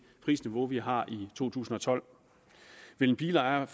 prisniveau vi har i to tusind og tolv vil en bilejer